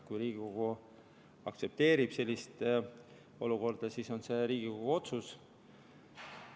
Kui Riigikogu aktsepteerib sellist olukorda, siis on see Riigikogu otsus.